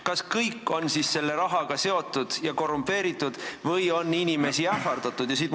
Kas kõik on siis selle rahaga seotud ja korrumpeerunud või on inimesi ähvardatud?